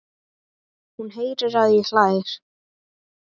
Hún heyrir að hann hlær.